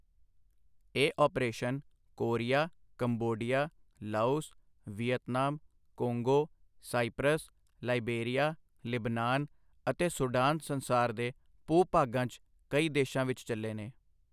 ਇਹ operation Korea, Cambodia, Laos, Vietnam, Congo, Cyprus, Liberia, ਲਿਬਨਾਨ ਅਤੇ ਸੁਡਾਨ ਸੰਸਾਰ ਦੇ ਭੂ ਭਾਗਾਂ 'ਚ ਕਈ ਦੇਸ਼ਾਂ ਵਿੱਚ ਚੱਲੇ ਨੇ।